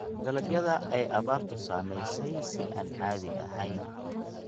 Dalagyada ay abaartu saamaysay si aan caadi ahayn.